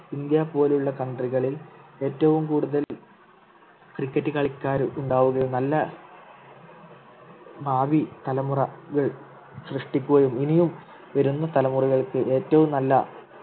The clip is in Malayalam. ഇന്ത്യ പോലുള്ള country കളിൽ ഏറ്റവും കൂടുതൽ cricket കളിക്കാരും ഉണ്ടാവുകയും നല്ല ഭാവി തലമുറ സൃഷ്ടിക്കുകയും ഇനിയും വരുന്ന തലമുറകൾക്ക് ഏറ്റവും നല്ല